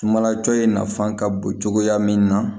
Sumala cɔcɔ in nafan ka bon cogoya min na